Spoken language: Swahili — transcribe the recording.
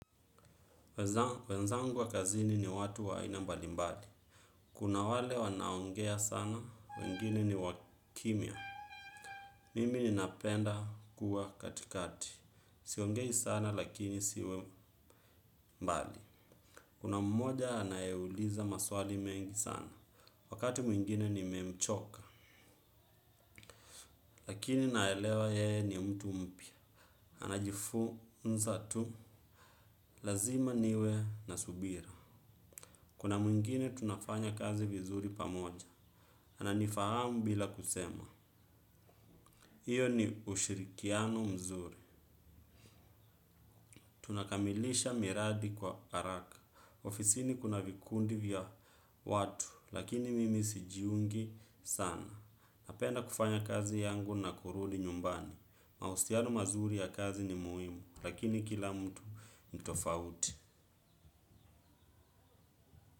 Wenzangu wa kazini ni watu wa aina mbali mbali. Kuna wale wanaoongea sana, wengine ni wakimya. Mimi ninapenda kuwa katikati. Siongei sana lakini siwe mbali. Kuna mmoja anayeuliza maswali mengi sana. Wakati mwingine nimemchoka. Lakini naelewa yeye ni mtu mpya. Anajifunza tu. Lazima niwe na subira. Kuna mwingine tunafanya kazi vizuri pamoja. Ananifahamu bila kusema hiyo ni ushirikiano mzuri. Tunakamilisha miradi kwa haraka. Ofisini kuna vikundi vya watu. Lakini mimi sijiungi sana. Napenda kufanya kazi yangu na kurudi nyumbani mahusiano mazuri ya kazi ni muhimu. Lakini kila mtu ni tofauti.